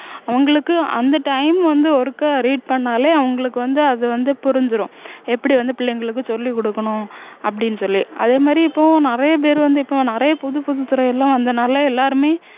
உங்களுக்கு அந்த time வந்து ஒருக்கா read பண்ணாலே அவங்களுக்கு வந்து அது வந்து புரிஞ்சிரும் எப்படி வந்து புள்ளைங்களுக்கு சொல்லி கொடுக்கணும் அப்படின்னு சொல்லி அதேமாதிரி இப்போ நிறைய பேரு வந்து இப்போ நிறைய புது புது துறை எல்லாம் வந்ததுனால எல்லாருமே